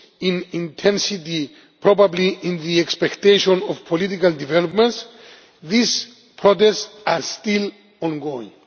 in intensity probably in the expectation of political developments these protests are still ongoing.